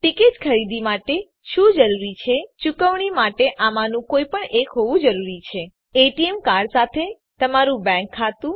ticket ખરીદી માટે શું જરૂરી છે ચુકવણી માટે આમાંનું કોઈપણ એક હોવું જોઈએ એટીએમ કાર્ડ સાથે તમારું બેંક ખાતું